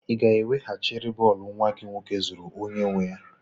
Ị ga-ewehachiri bọọlụ nwa gị nwoke zuru onye nwe ya?